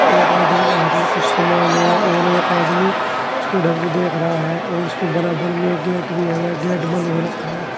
एक आदमी के हाथ में कुछ समान है और एक आदमी उसकी देख रहा है और उसकी बराबर में एक गेट भी है वे गेट बंद हो रखा है।